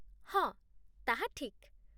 ହଁ, ତାହା ଠିକ୍